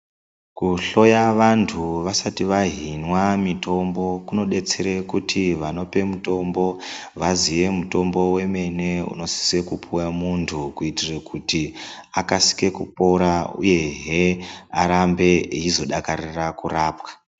Kuhloya vantu vasati vahimwa mitombo unobetsere kuti vanopa mutombo vaziye mutombo wemene unosise puwa muntu kuitire kuti akasike pora uyehe arambehe eizodakarira kurapwa.